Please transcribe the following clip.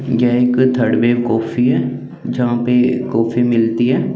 ये एक Third Wave Coffee है जहा पे कॉफ़ी मिलती है।